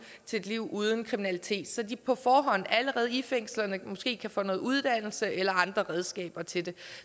til et liv uden kriminalitet og så de på forhånd allerede i fængslerne måske kan få noget uddannelse eller andre redskaber til det